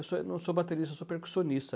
Eu sou, eu não sou baterista, eu sou percussionista.